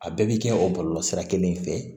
A bɛɛ bɛ kɛ o bɔlɔlɔ sira kelen fɛ